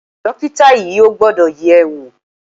Dọ́kítà yìí ò gbọ́dọ̀ yẹ̀ ẹ́ wò.